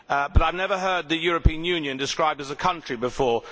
I have never heard the European Union described as a country before.